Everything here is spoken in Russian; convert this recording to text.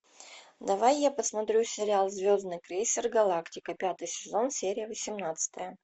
давай я посмотрю сериал звездный крейсер галактика пятый сезон серия восемнадцатая